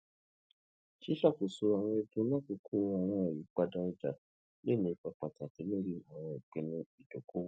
ṣiṣakoso awọn ẹdun lakoko awọn iyipada ọja le ni ipa pataki lori awọn ipinnu idokoowo